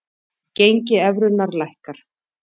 Gengi evrunnar lækkar